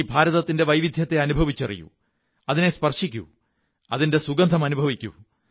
ഈ ഭാരതത്തിന്റെ വൈവിധ്യത്തെ അനുഭവിച്ചറിയൂ അതിനെ സ്പര്ശി്ക്കൂ അതിന്റെ സുഗന്ധം അനുഭവിക്കൂ